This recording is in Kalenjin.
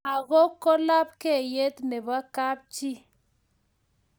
langok ko lapkeiyet nebo kap chii